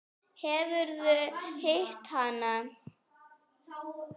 Hefurðu hitt hana?